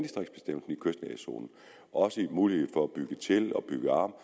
også en mulighed for at bygge til og bygge om